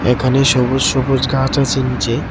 এখানে সবুজ সবুজ ঘাছ আছে নীচে.